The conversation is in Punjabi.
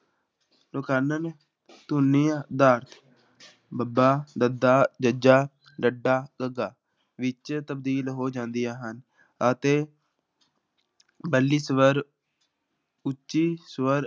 ਧੁਨੀਆਂ ਦਾ ਬੱਬਾ, ਦੱਦਾ, ਜੱਜਾ, ਡੱਡਾ, ਧੱਧਾ ਵਿੱਚ ਤਬਦੀਲ ਹੋ ਜਾਂਦੀਆਂ ਹਨ ਅਤੇ ਸਵਰ ਉੱਚੀ ਸਵਰ